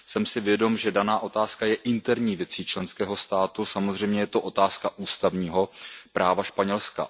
Jsem si vědom, že daná otázka je interní věcí členského státu, samozřejmě je to otázka ústavního práva Španělska.